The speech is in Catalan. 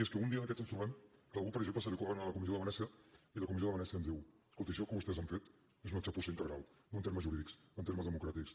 és que un dia d’aquests ens trobem que a algú per exemple se li ocorri anar a la comissió de venècia i la comissió de venècia ens digui escolti això que vostès han fet és una txapussa integral no en termes jurídics en termes democràtics